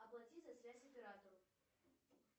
оплати за связь оператору